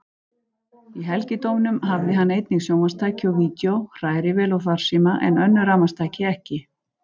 Í helgidómnum hafði hann einnig sjónvarpstæki og vídeó, hrærivél og farsíma, en önnur rafmagnstæki ekki.